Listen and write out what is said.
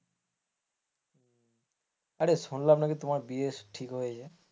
আরে শুনলাম নাকি তোমার বিয়ে ঠিক হয়েছে।